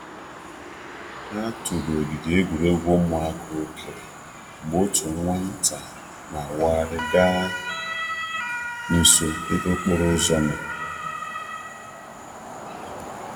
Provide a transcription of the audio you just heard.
A tụrụ ogige egwuregwu ụmụaka okere mgbe otu nwa nta na awaghari ga nso ebe okporo ụzọ nọ.